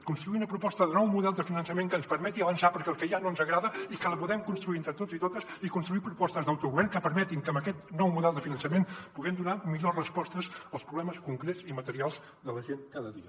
construir una proposta de nou model de finançament que ens permeti avançar perquè el que hi ha no ens agrada i que la podem construir entre tots i totes i construir propostes d’autogovern que permetin que amb aquest nou model de finançament puguem donar millors respostes als problemes concrets i materials de la gent cada dia